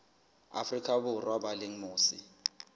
afrika borwa ba leng mose